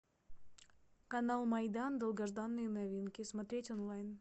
канал майдан долгожданные новинки смотреть онлайн